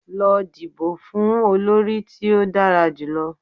Lọ dibo fun olori ti o dara julọ!